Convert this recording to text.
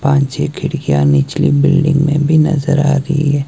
पांच छे खिड़कियां निचली की बिल्डिंग में भी नजर आ री है।